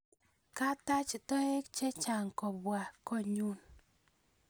Kataach toek chechang' kopwan konyun